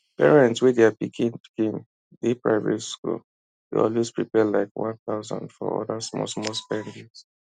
parents wey their pikin pikin dey private school dey always prepare like one thouisand for other smallsmall spendings